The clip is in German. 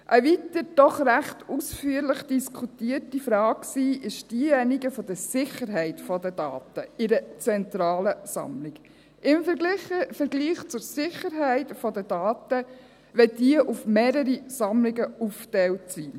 Eine weitere, doch ziemlich ausführlich diskutierte Frage war diejenige der Sicherheit der Daten in der zentralen Sammlung im Vergleich zur Sicherheit der Daten, wenn diese auf mehrere Sammlungen aufgeteilt sind.